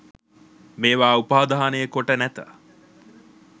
මේවා උපාදානය කොට නැත..